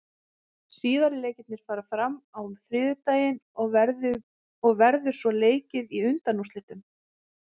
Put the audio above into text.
Síðari leikirnir fara fram á þriðjudaginn og verður svo leikið í undanúrslitum.